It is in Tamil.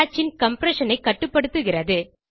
cacheன் கம்ப்ரஷன் ஐ கட்டுப்படுத்துகிறது